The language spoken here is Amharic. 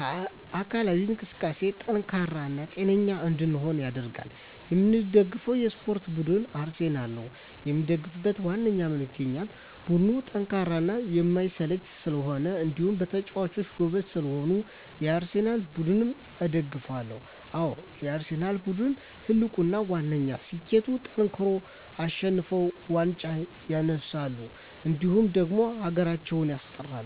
ለአካላዊ እንቅስቃሴ ጠንካራ እና ጤነኛ እንድንሆን ያደርጋል። የምደግፈው የስፓርት ቡድን አርሰናል ነው። የምደግፍበት ዋነኛ ምክንያት ቡድኑ ጠንካራና የማይሰለች ስለሆኑ እንዲሁም በጨዋታቸው ጎበዝ ስለሆኑ የአርሰናል ቡድንን እደግፋለሁ። አዎ የአርሰናል ቡድን ትልቁና ዋነኛ ስኬቱጠንክረው አሸንፈው ዋንጫ ያነሳሉ እንዲሁም ደግሞ ሀገራችንም ያስጠራሉ።